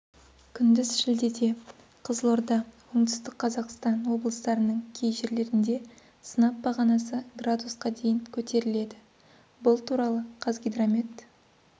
күндіз шілдеде кызылорда оңтүстік қазақстан облыстарының кей жерлерінде сынап бағанасы градусқа дейін көтеріледі бұл туралы қазгидромет